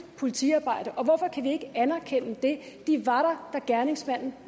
politiarbejde og hvorfor kan vi ikke anerkende det de var der da gerningsmanden